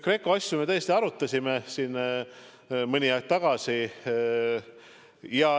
GRECO asju me tõesti arutasime siin mõni aeg tagasi.